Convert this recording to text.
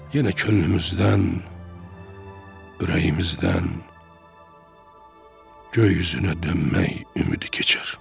yenə könlümüzdən, ürəyimizdən göy üzünə dönmək ümidi keçər.